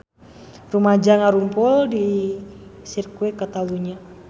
Rumaja ngarumpul di Sirkuit Catalunya